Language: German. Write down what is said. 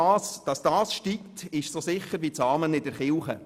Dass die Lohnsumme steigen wird, ist so sicher wie das Amen in der Kirche.